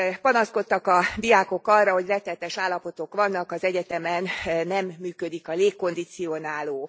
Panaszkodtak a diákok arra, hogy rettenetes állapotok vannak, az egyetemen nem működik a légkondicionáló.